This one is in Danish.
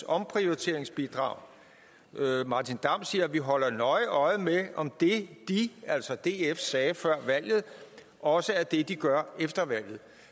omprioriteringsbidrag martin damm sagde at man ville holde nøje øje med om det de altså df sagde før valget også er det de gør efter valget